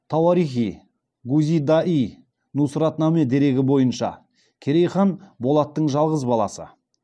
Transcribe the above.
тауарих и гузида йи нусратнаме дерегі бойынша керей хан болаттың жалғыз баласы